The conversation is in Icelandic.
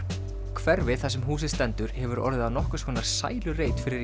hverfið þar sem húsið stendur hefur orðið að nokkurs konar sælureit fyrir